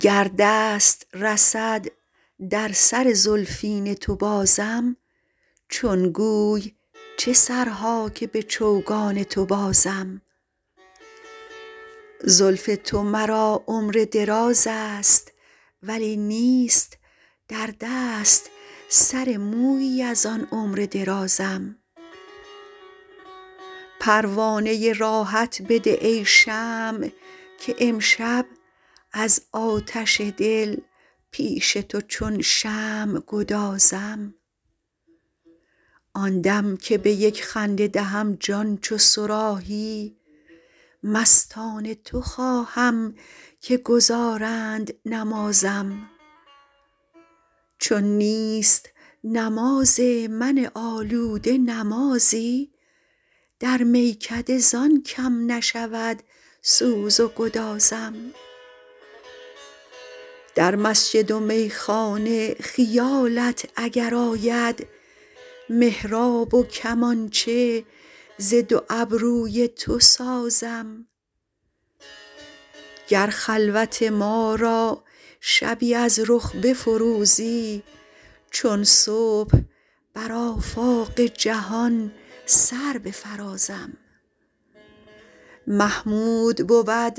گر دست رسد در سر زلفین تو بازم چون گوی چه سرها که به چوگان تو بازم زلف تو مرا عمر دراز است ولی نیست در دست سر مویی از آن عمر درازم پروانه راحت بده ای شمع که امشب از آتش دل پیش تو چون شمع گدازم آن دم که به یک خنده دهم جان چو صراحی مستان تو خواهم که گزارند نمازم چون نیست نماز من آلوده نمازی در میکده زان کم نشود سوز و گدازم در مسجد و میخانه خیالت اگر آید محراب و کمانچه ز دو ابروی تو سازم گر خلوت ما را شبی از رخ بفروزی چون صبح بر آفاق جهان سر بفرازم محمود بود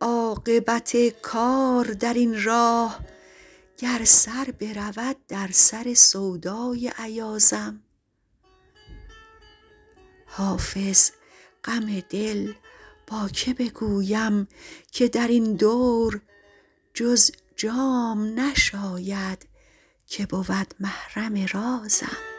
عاقبت کار در این راه گر سر برود در سر سودای ایازم حافظ غم دل با که بگویم که در این دور جز جام نشاید که بود محرم رازم